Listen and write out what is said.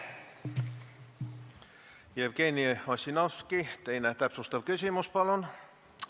Jevgeni Ossinovski, täpsustav küsimus, palun!